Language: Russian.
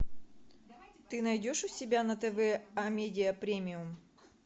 ты найдешь у себя на тв амедиа премиум